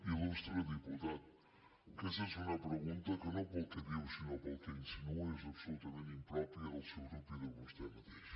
il·lustre diputat aquesta és una pregunta que no pel que diu sinó pel que insinua és absolutament impròpia del seu grup i de vostè mateix